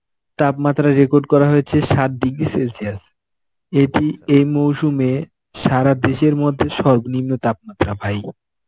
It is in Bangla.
তাপমাত্রা record করা হয়েছে সাত degree celsius এটি এ মৌসুমে সারা দেশের মধ্যে সর্বনিম্ন তাপমাত্রা ভাই.